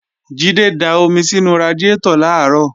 Jídé da omi sínú radiátọ̀ làárọ̀